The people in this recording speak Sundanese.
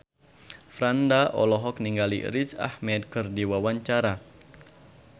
Franda olohok ningali Riz Ahmed keur diwawancara